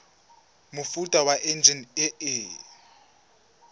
mofuta wa enjine e e